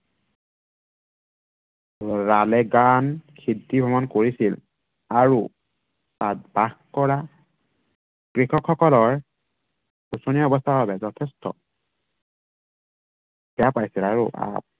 ৰালেগান সিদ্ধি ভ্ৰমণ কৰিছিল। আৰু তাত বাস কৰা কৃষকসকলৰ শোচনীয় অৱস্থাৰ বাবে যথেষ্ট বেয়া পাইছিল। আৰু আহ